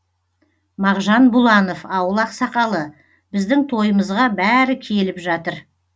мағжан бұланов ауыл ақсақалы біздің тойымызға бәрі келіп жатыр